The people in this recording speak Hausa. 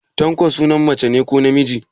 Tanko sunan mace ne ko namiji?